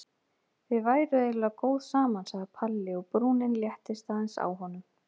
Þið væruð eiginlega góð saman sagði Palli og brúnin léttist aðeins á honum.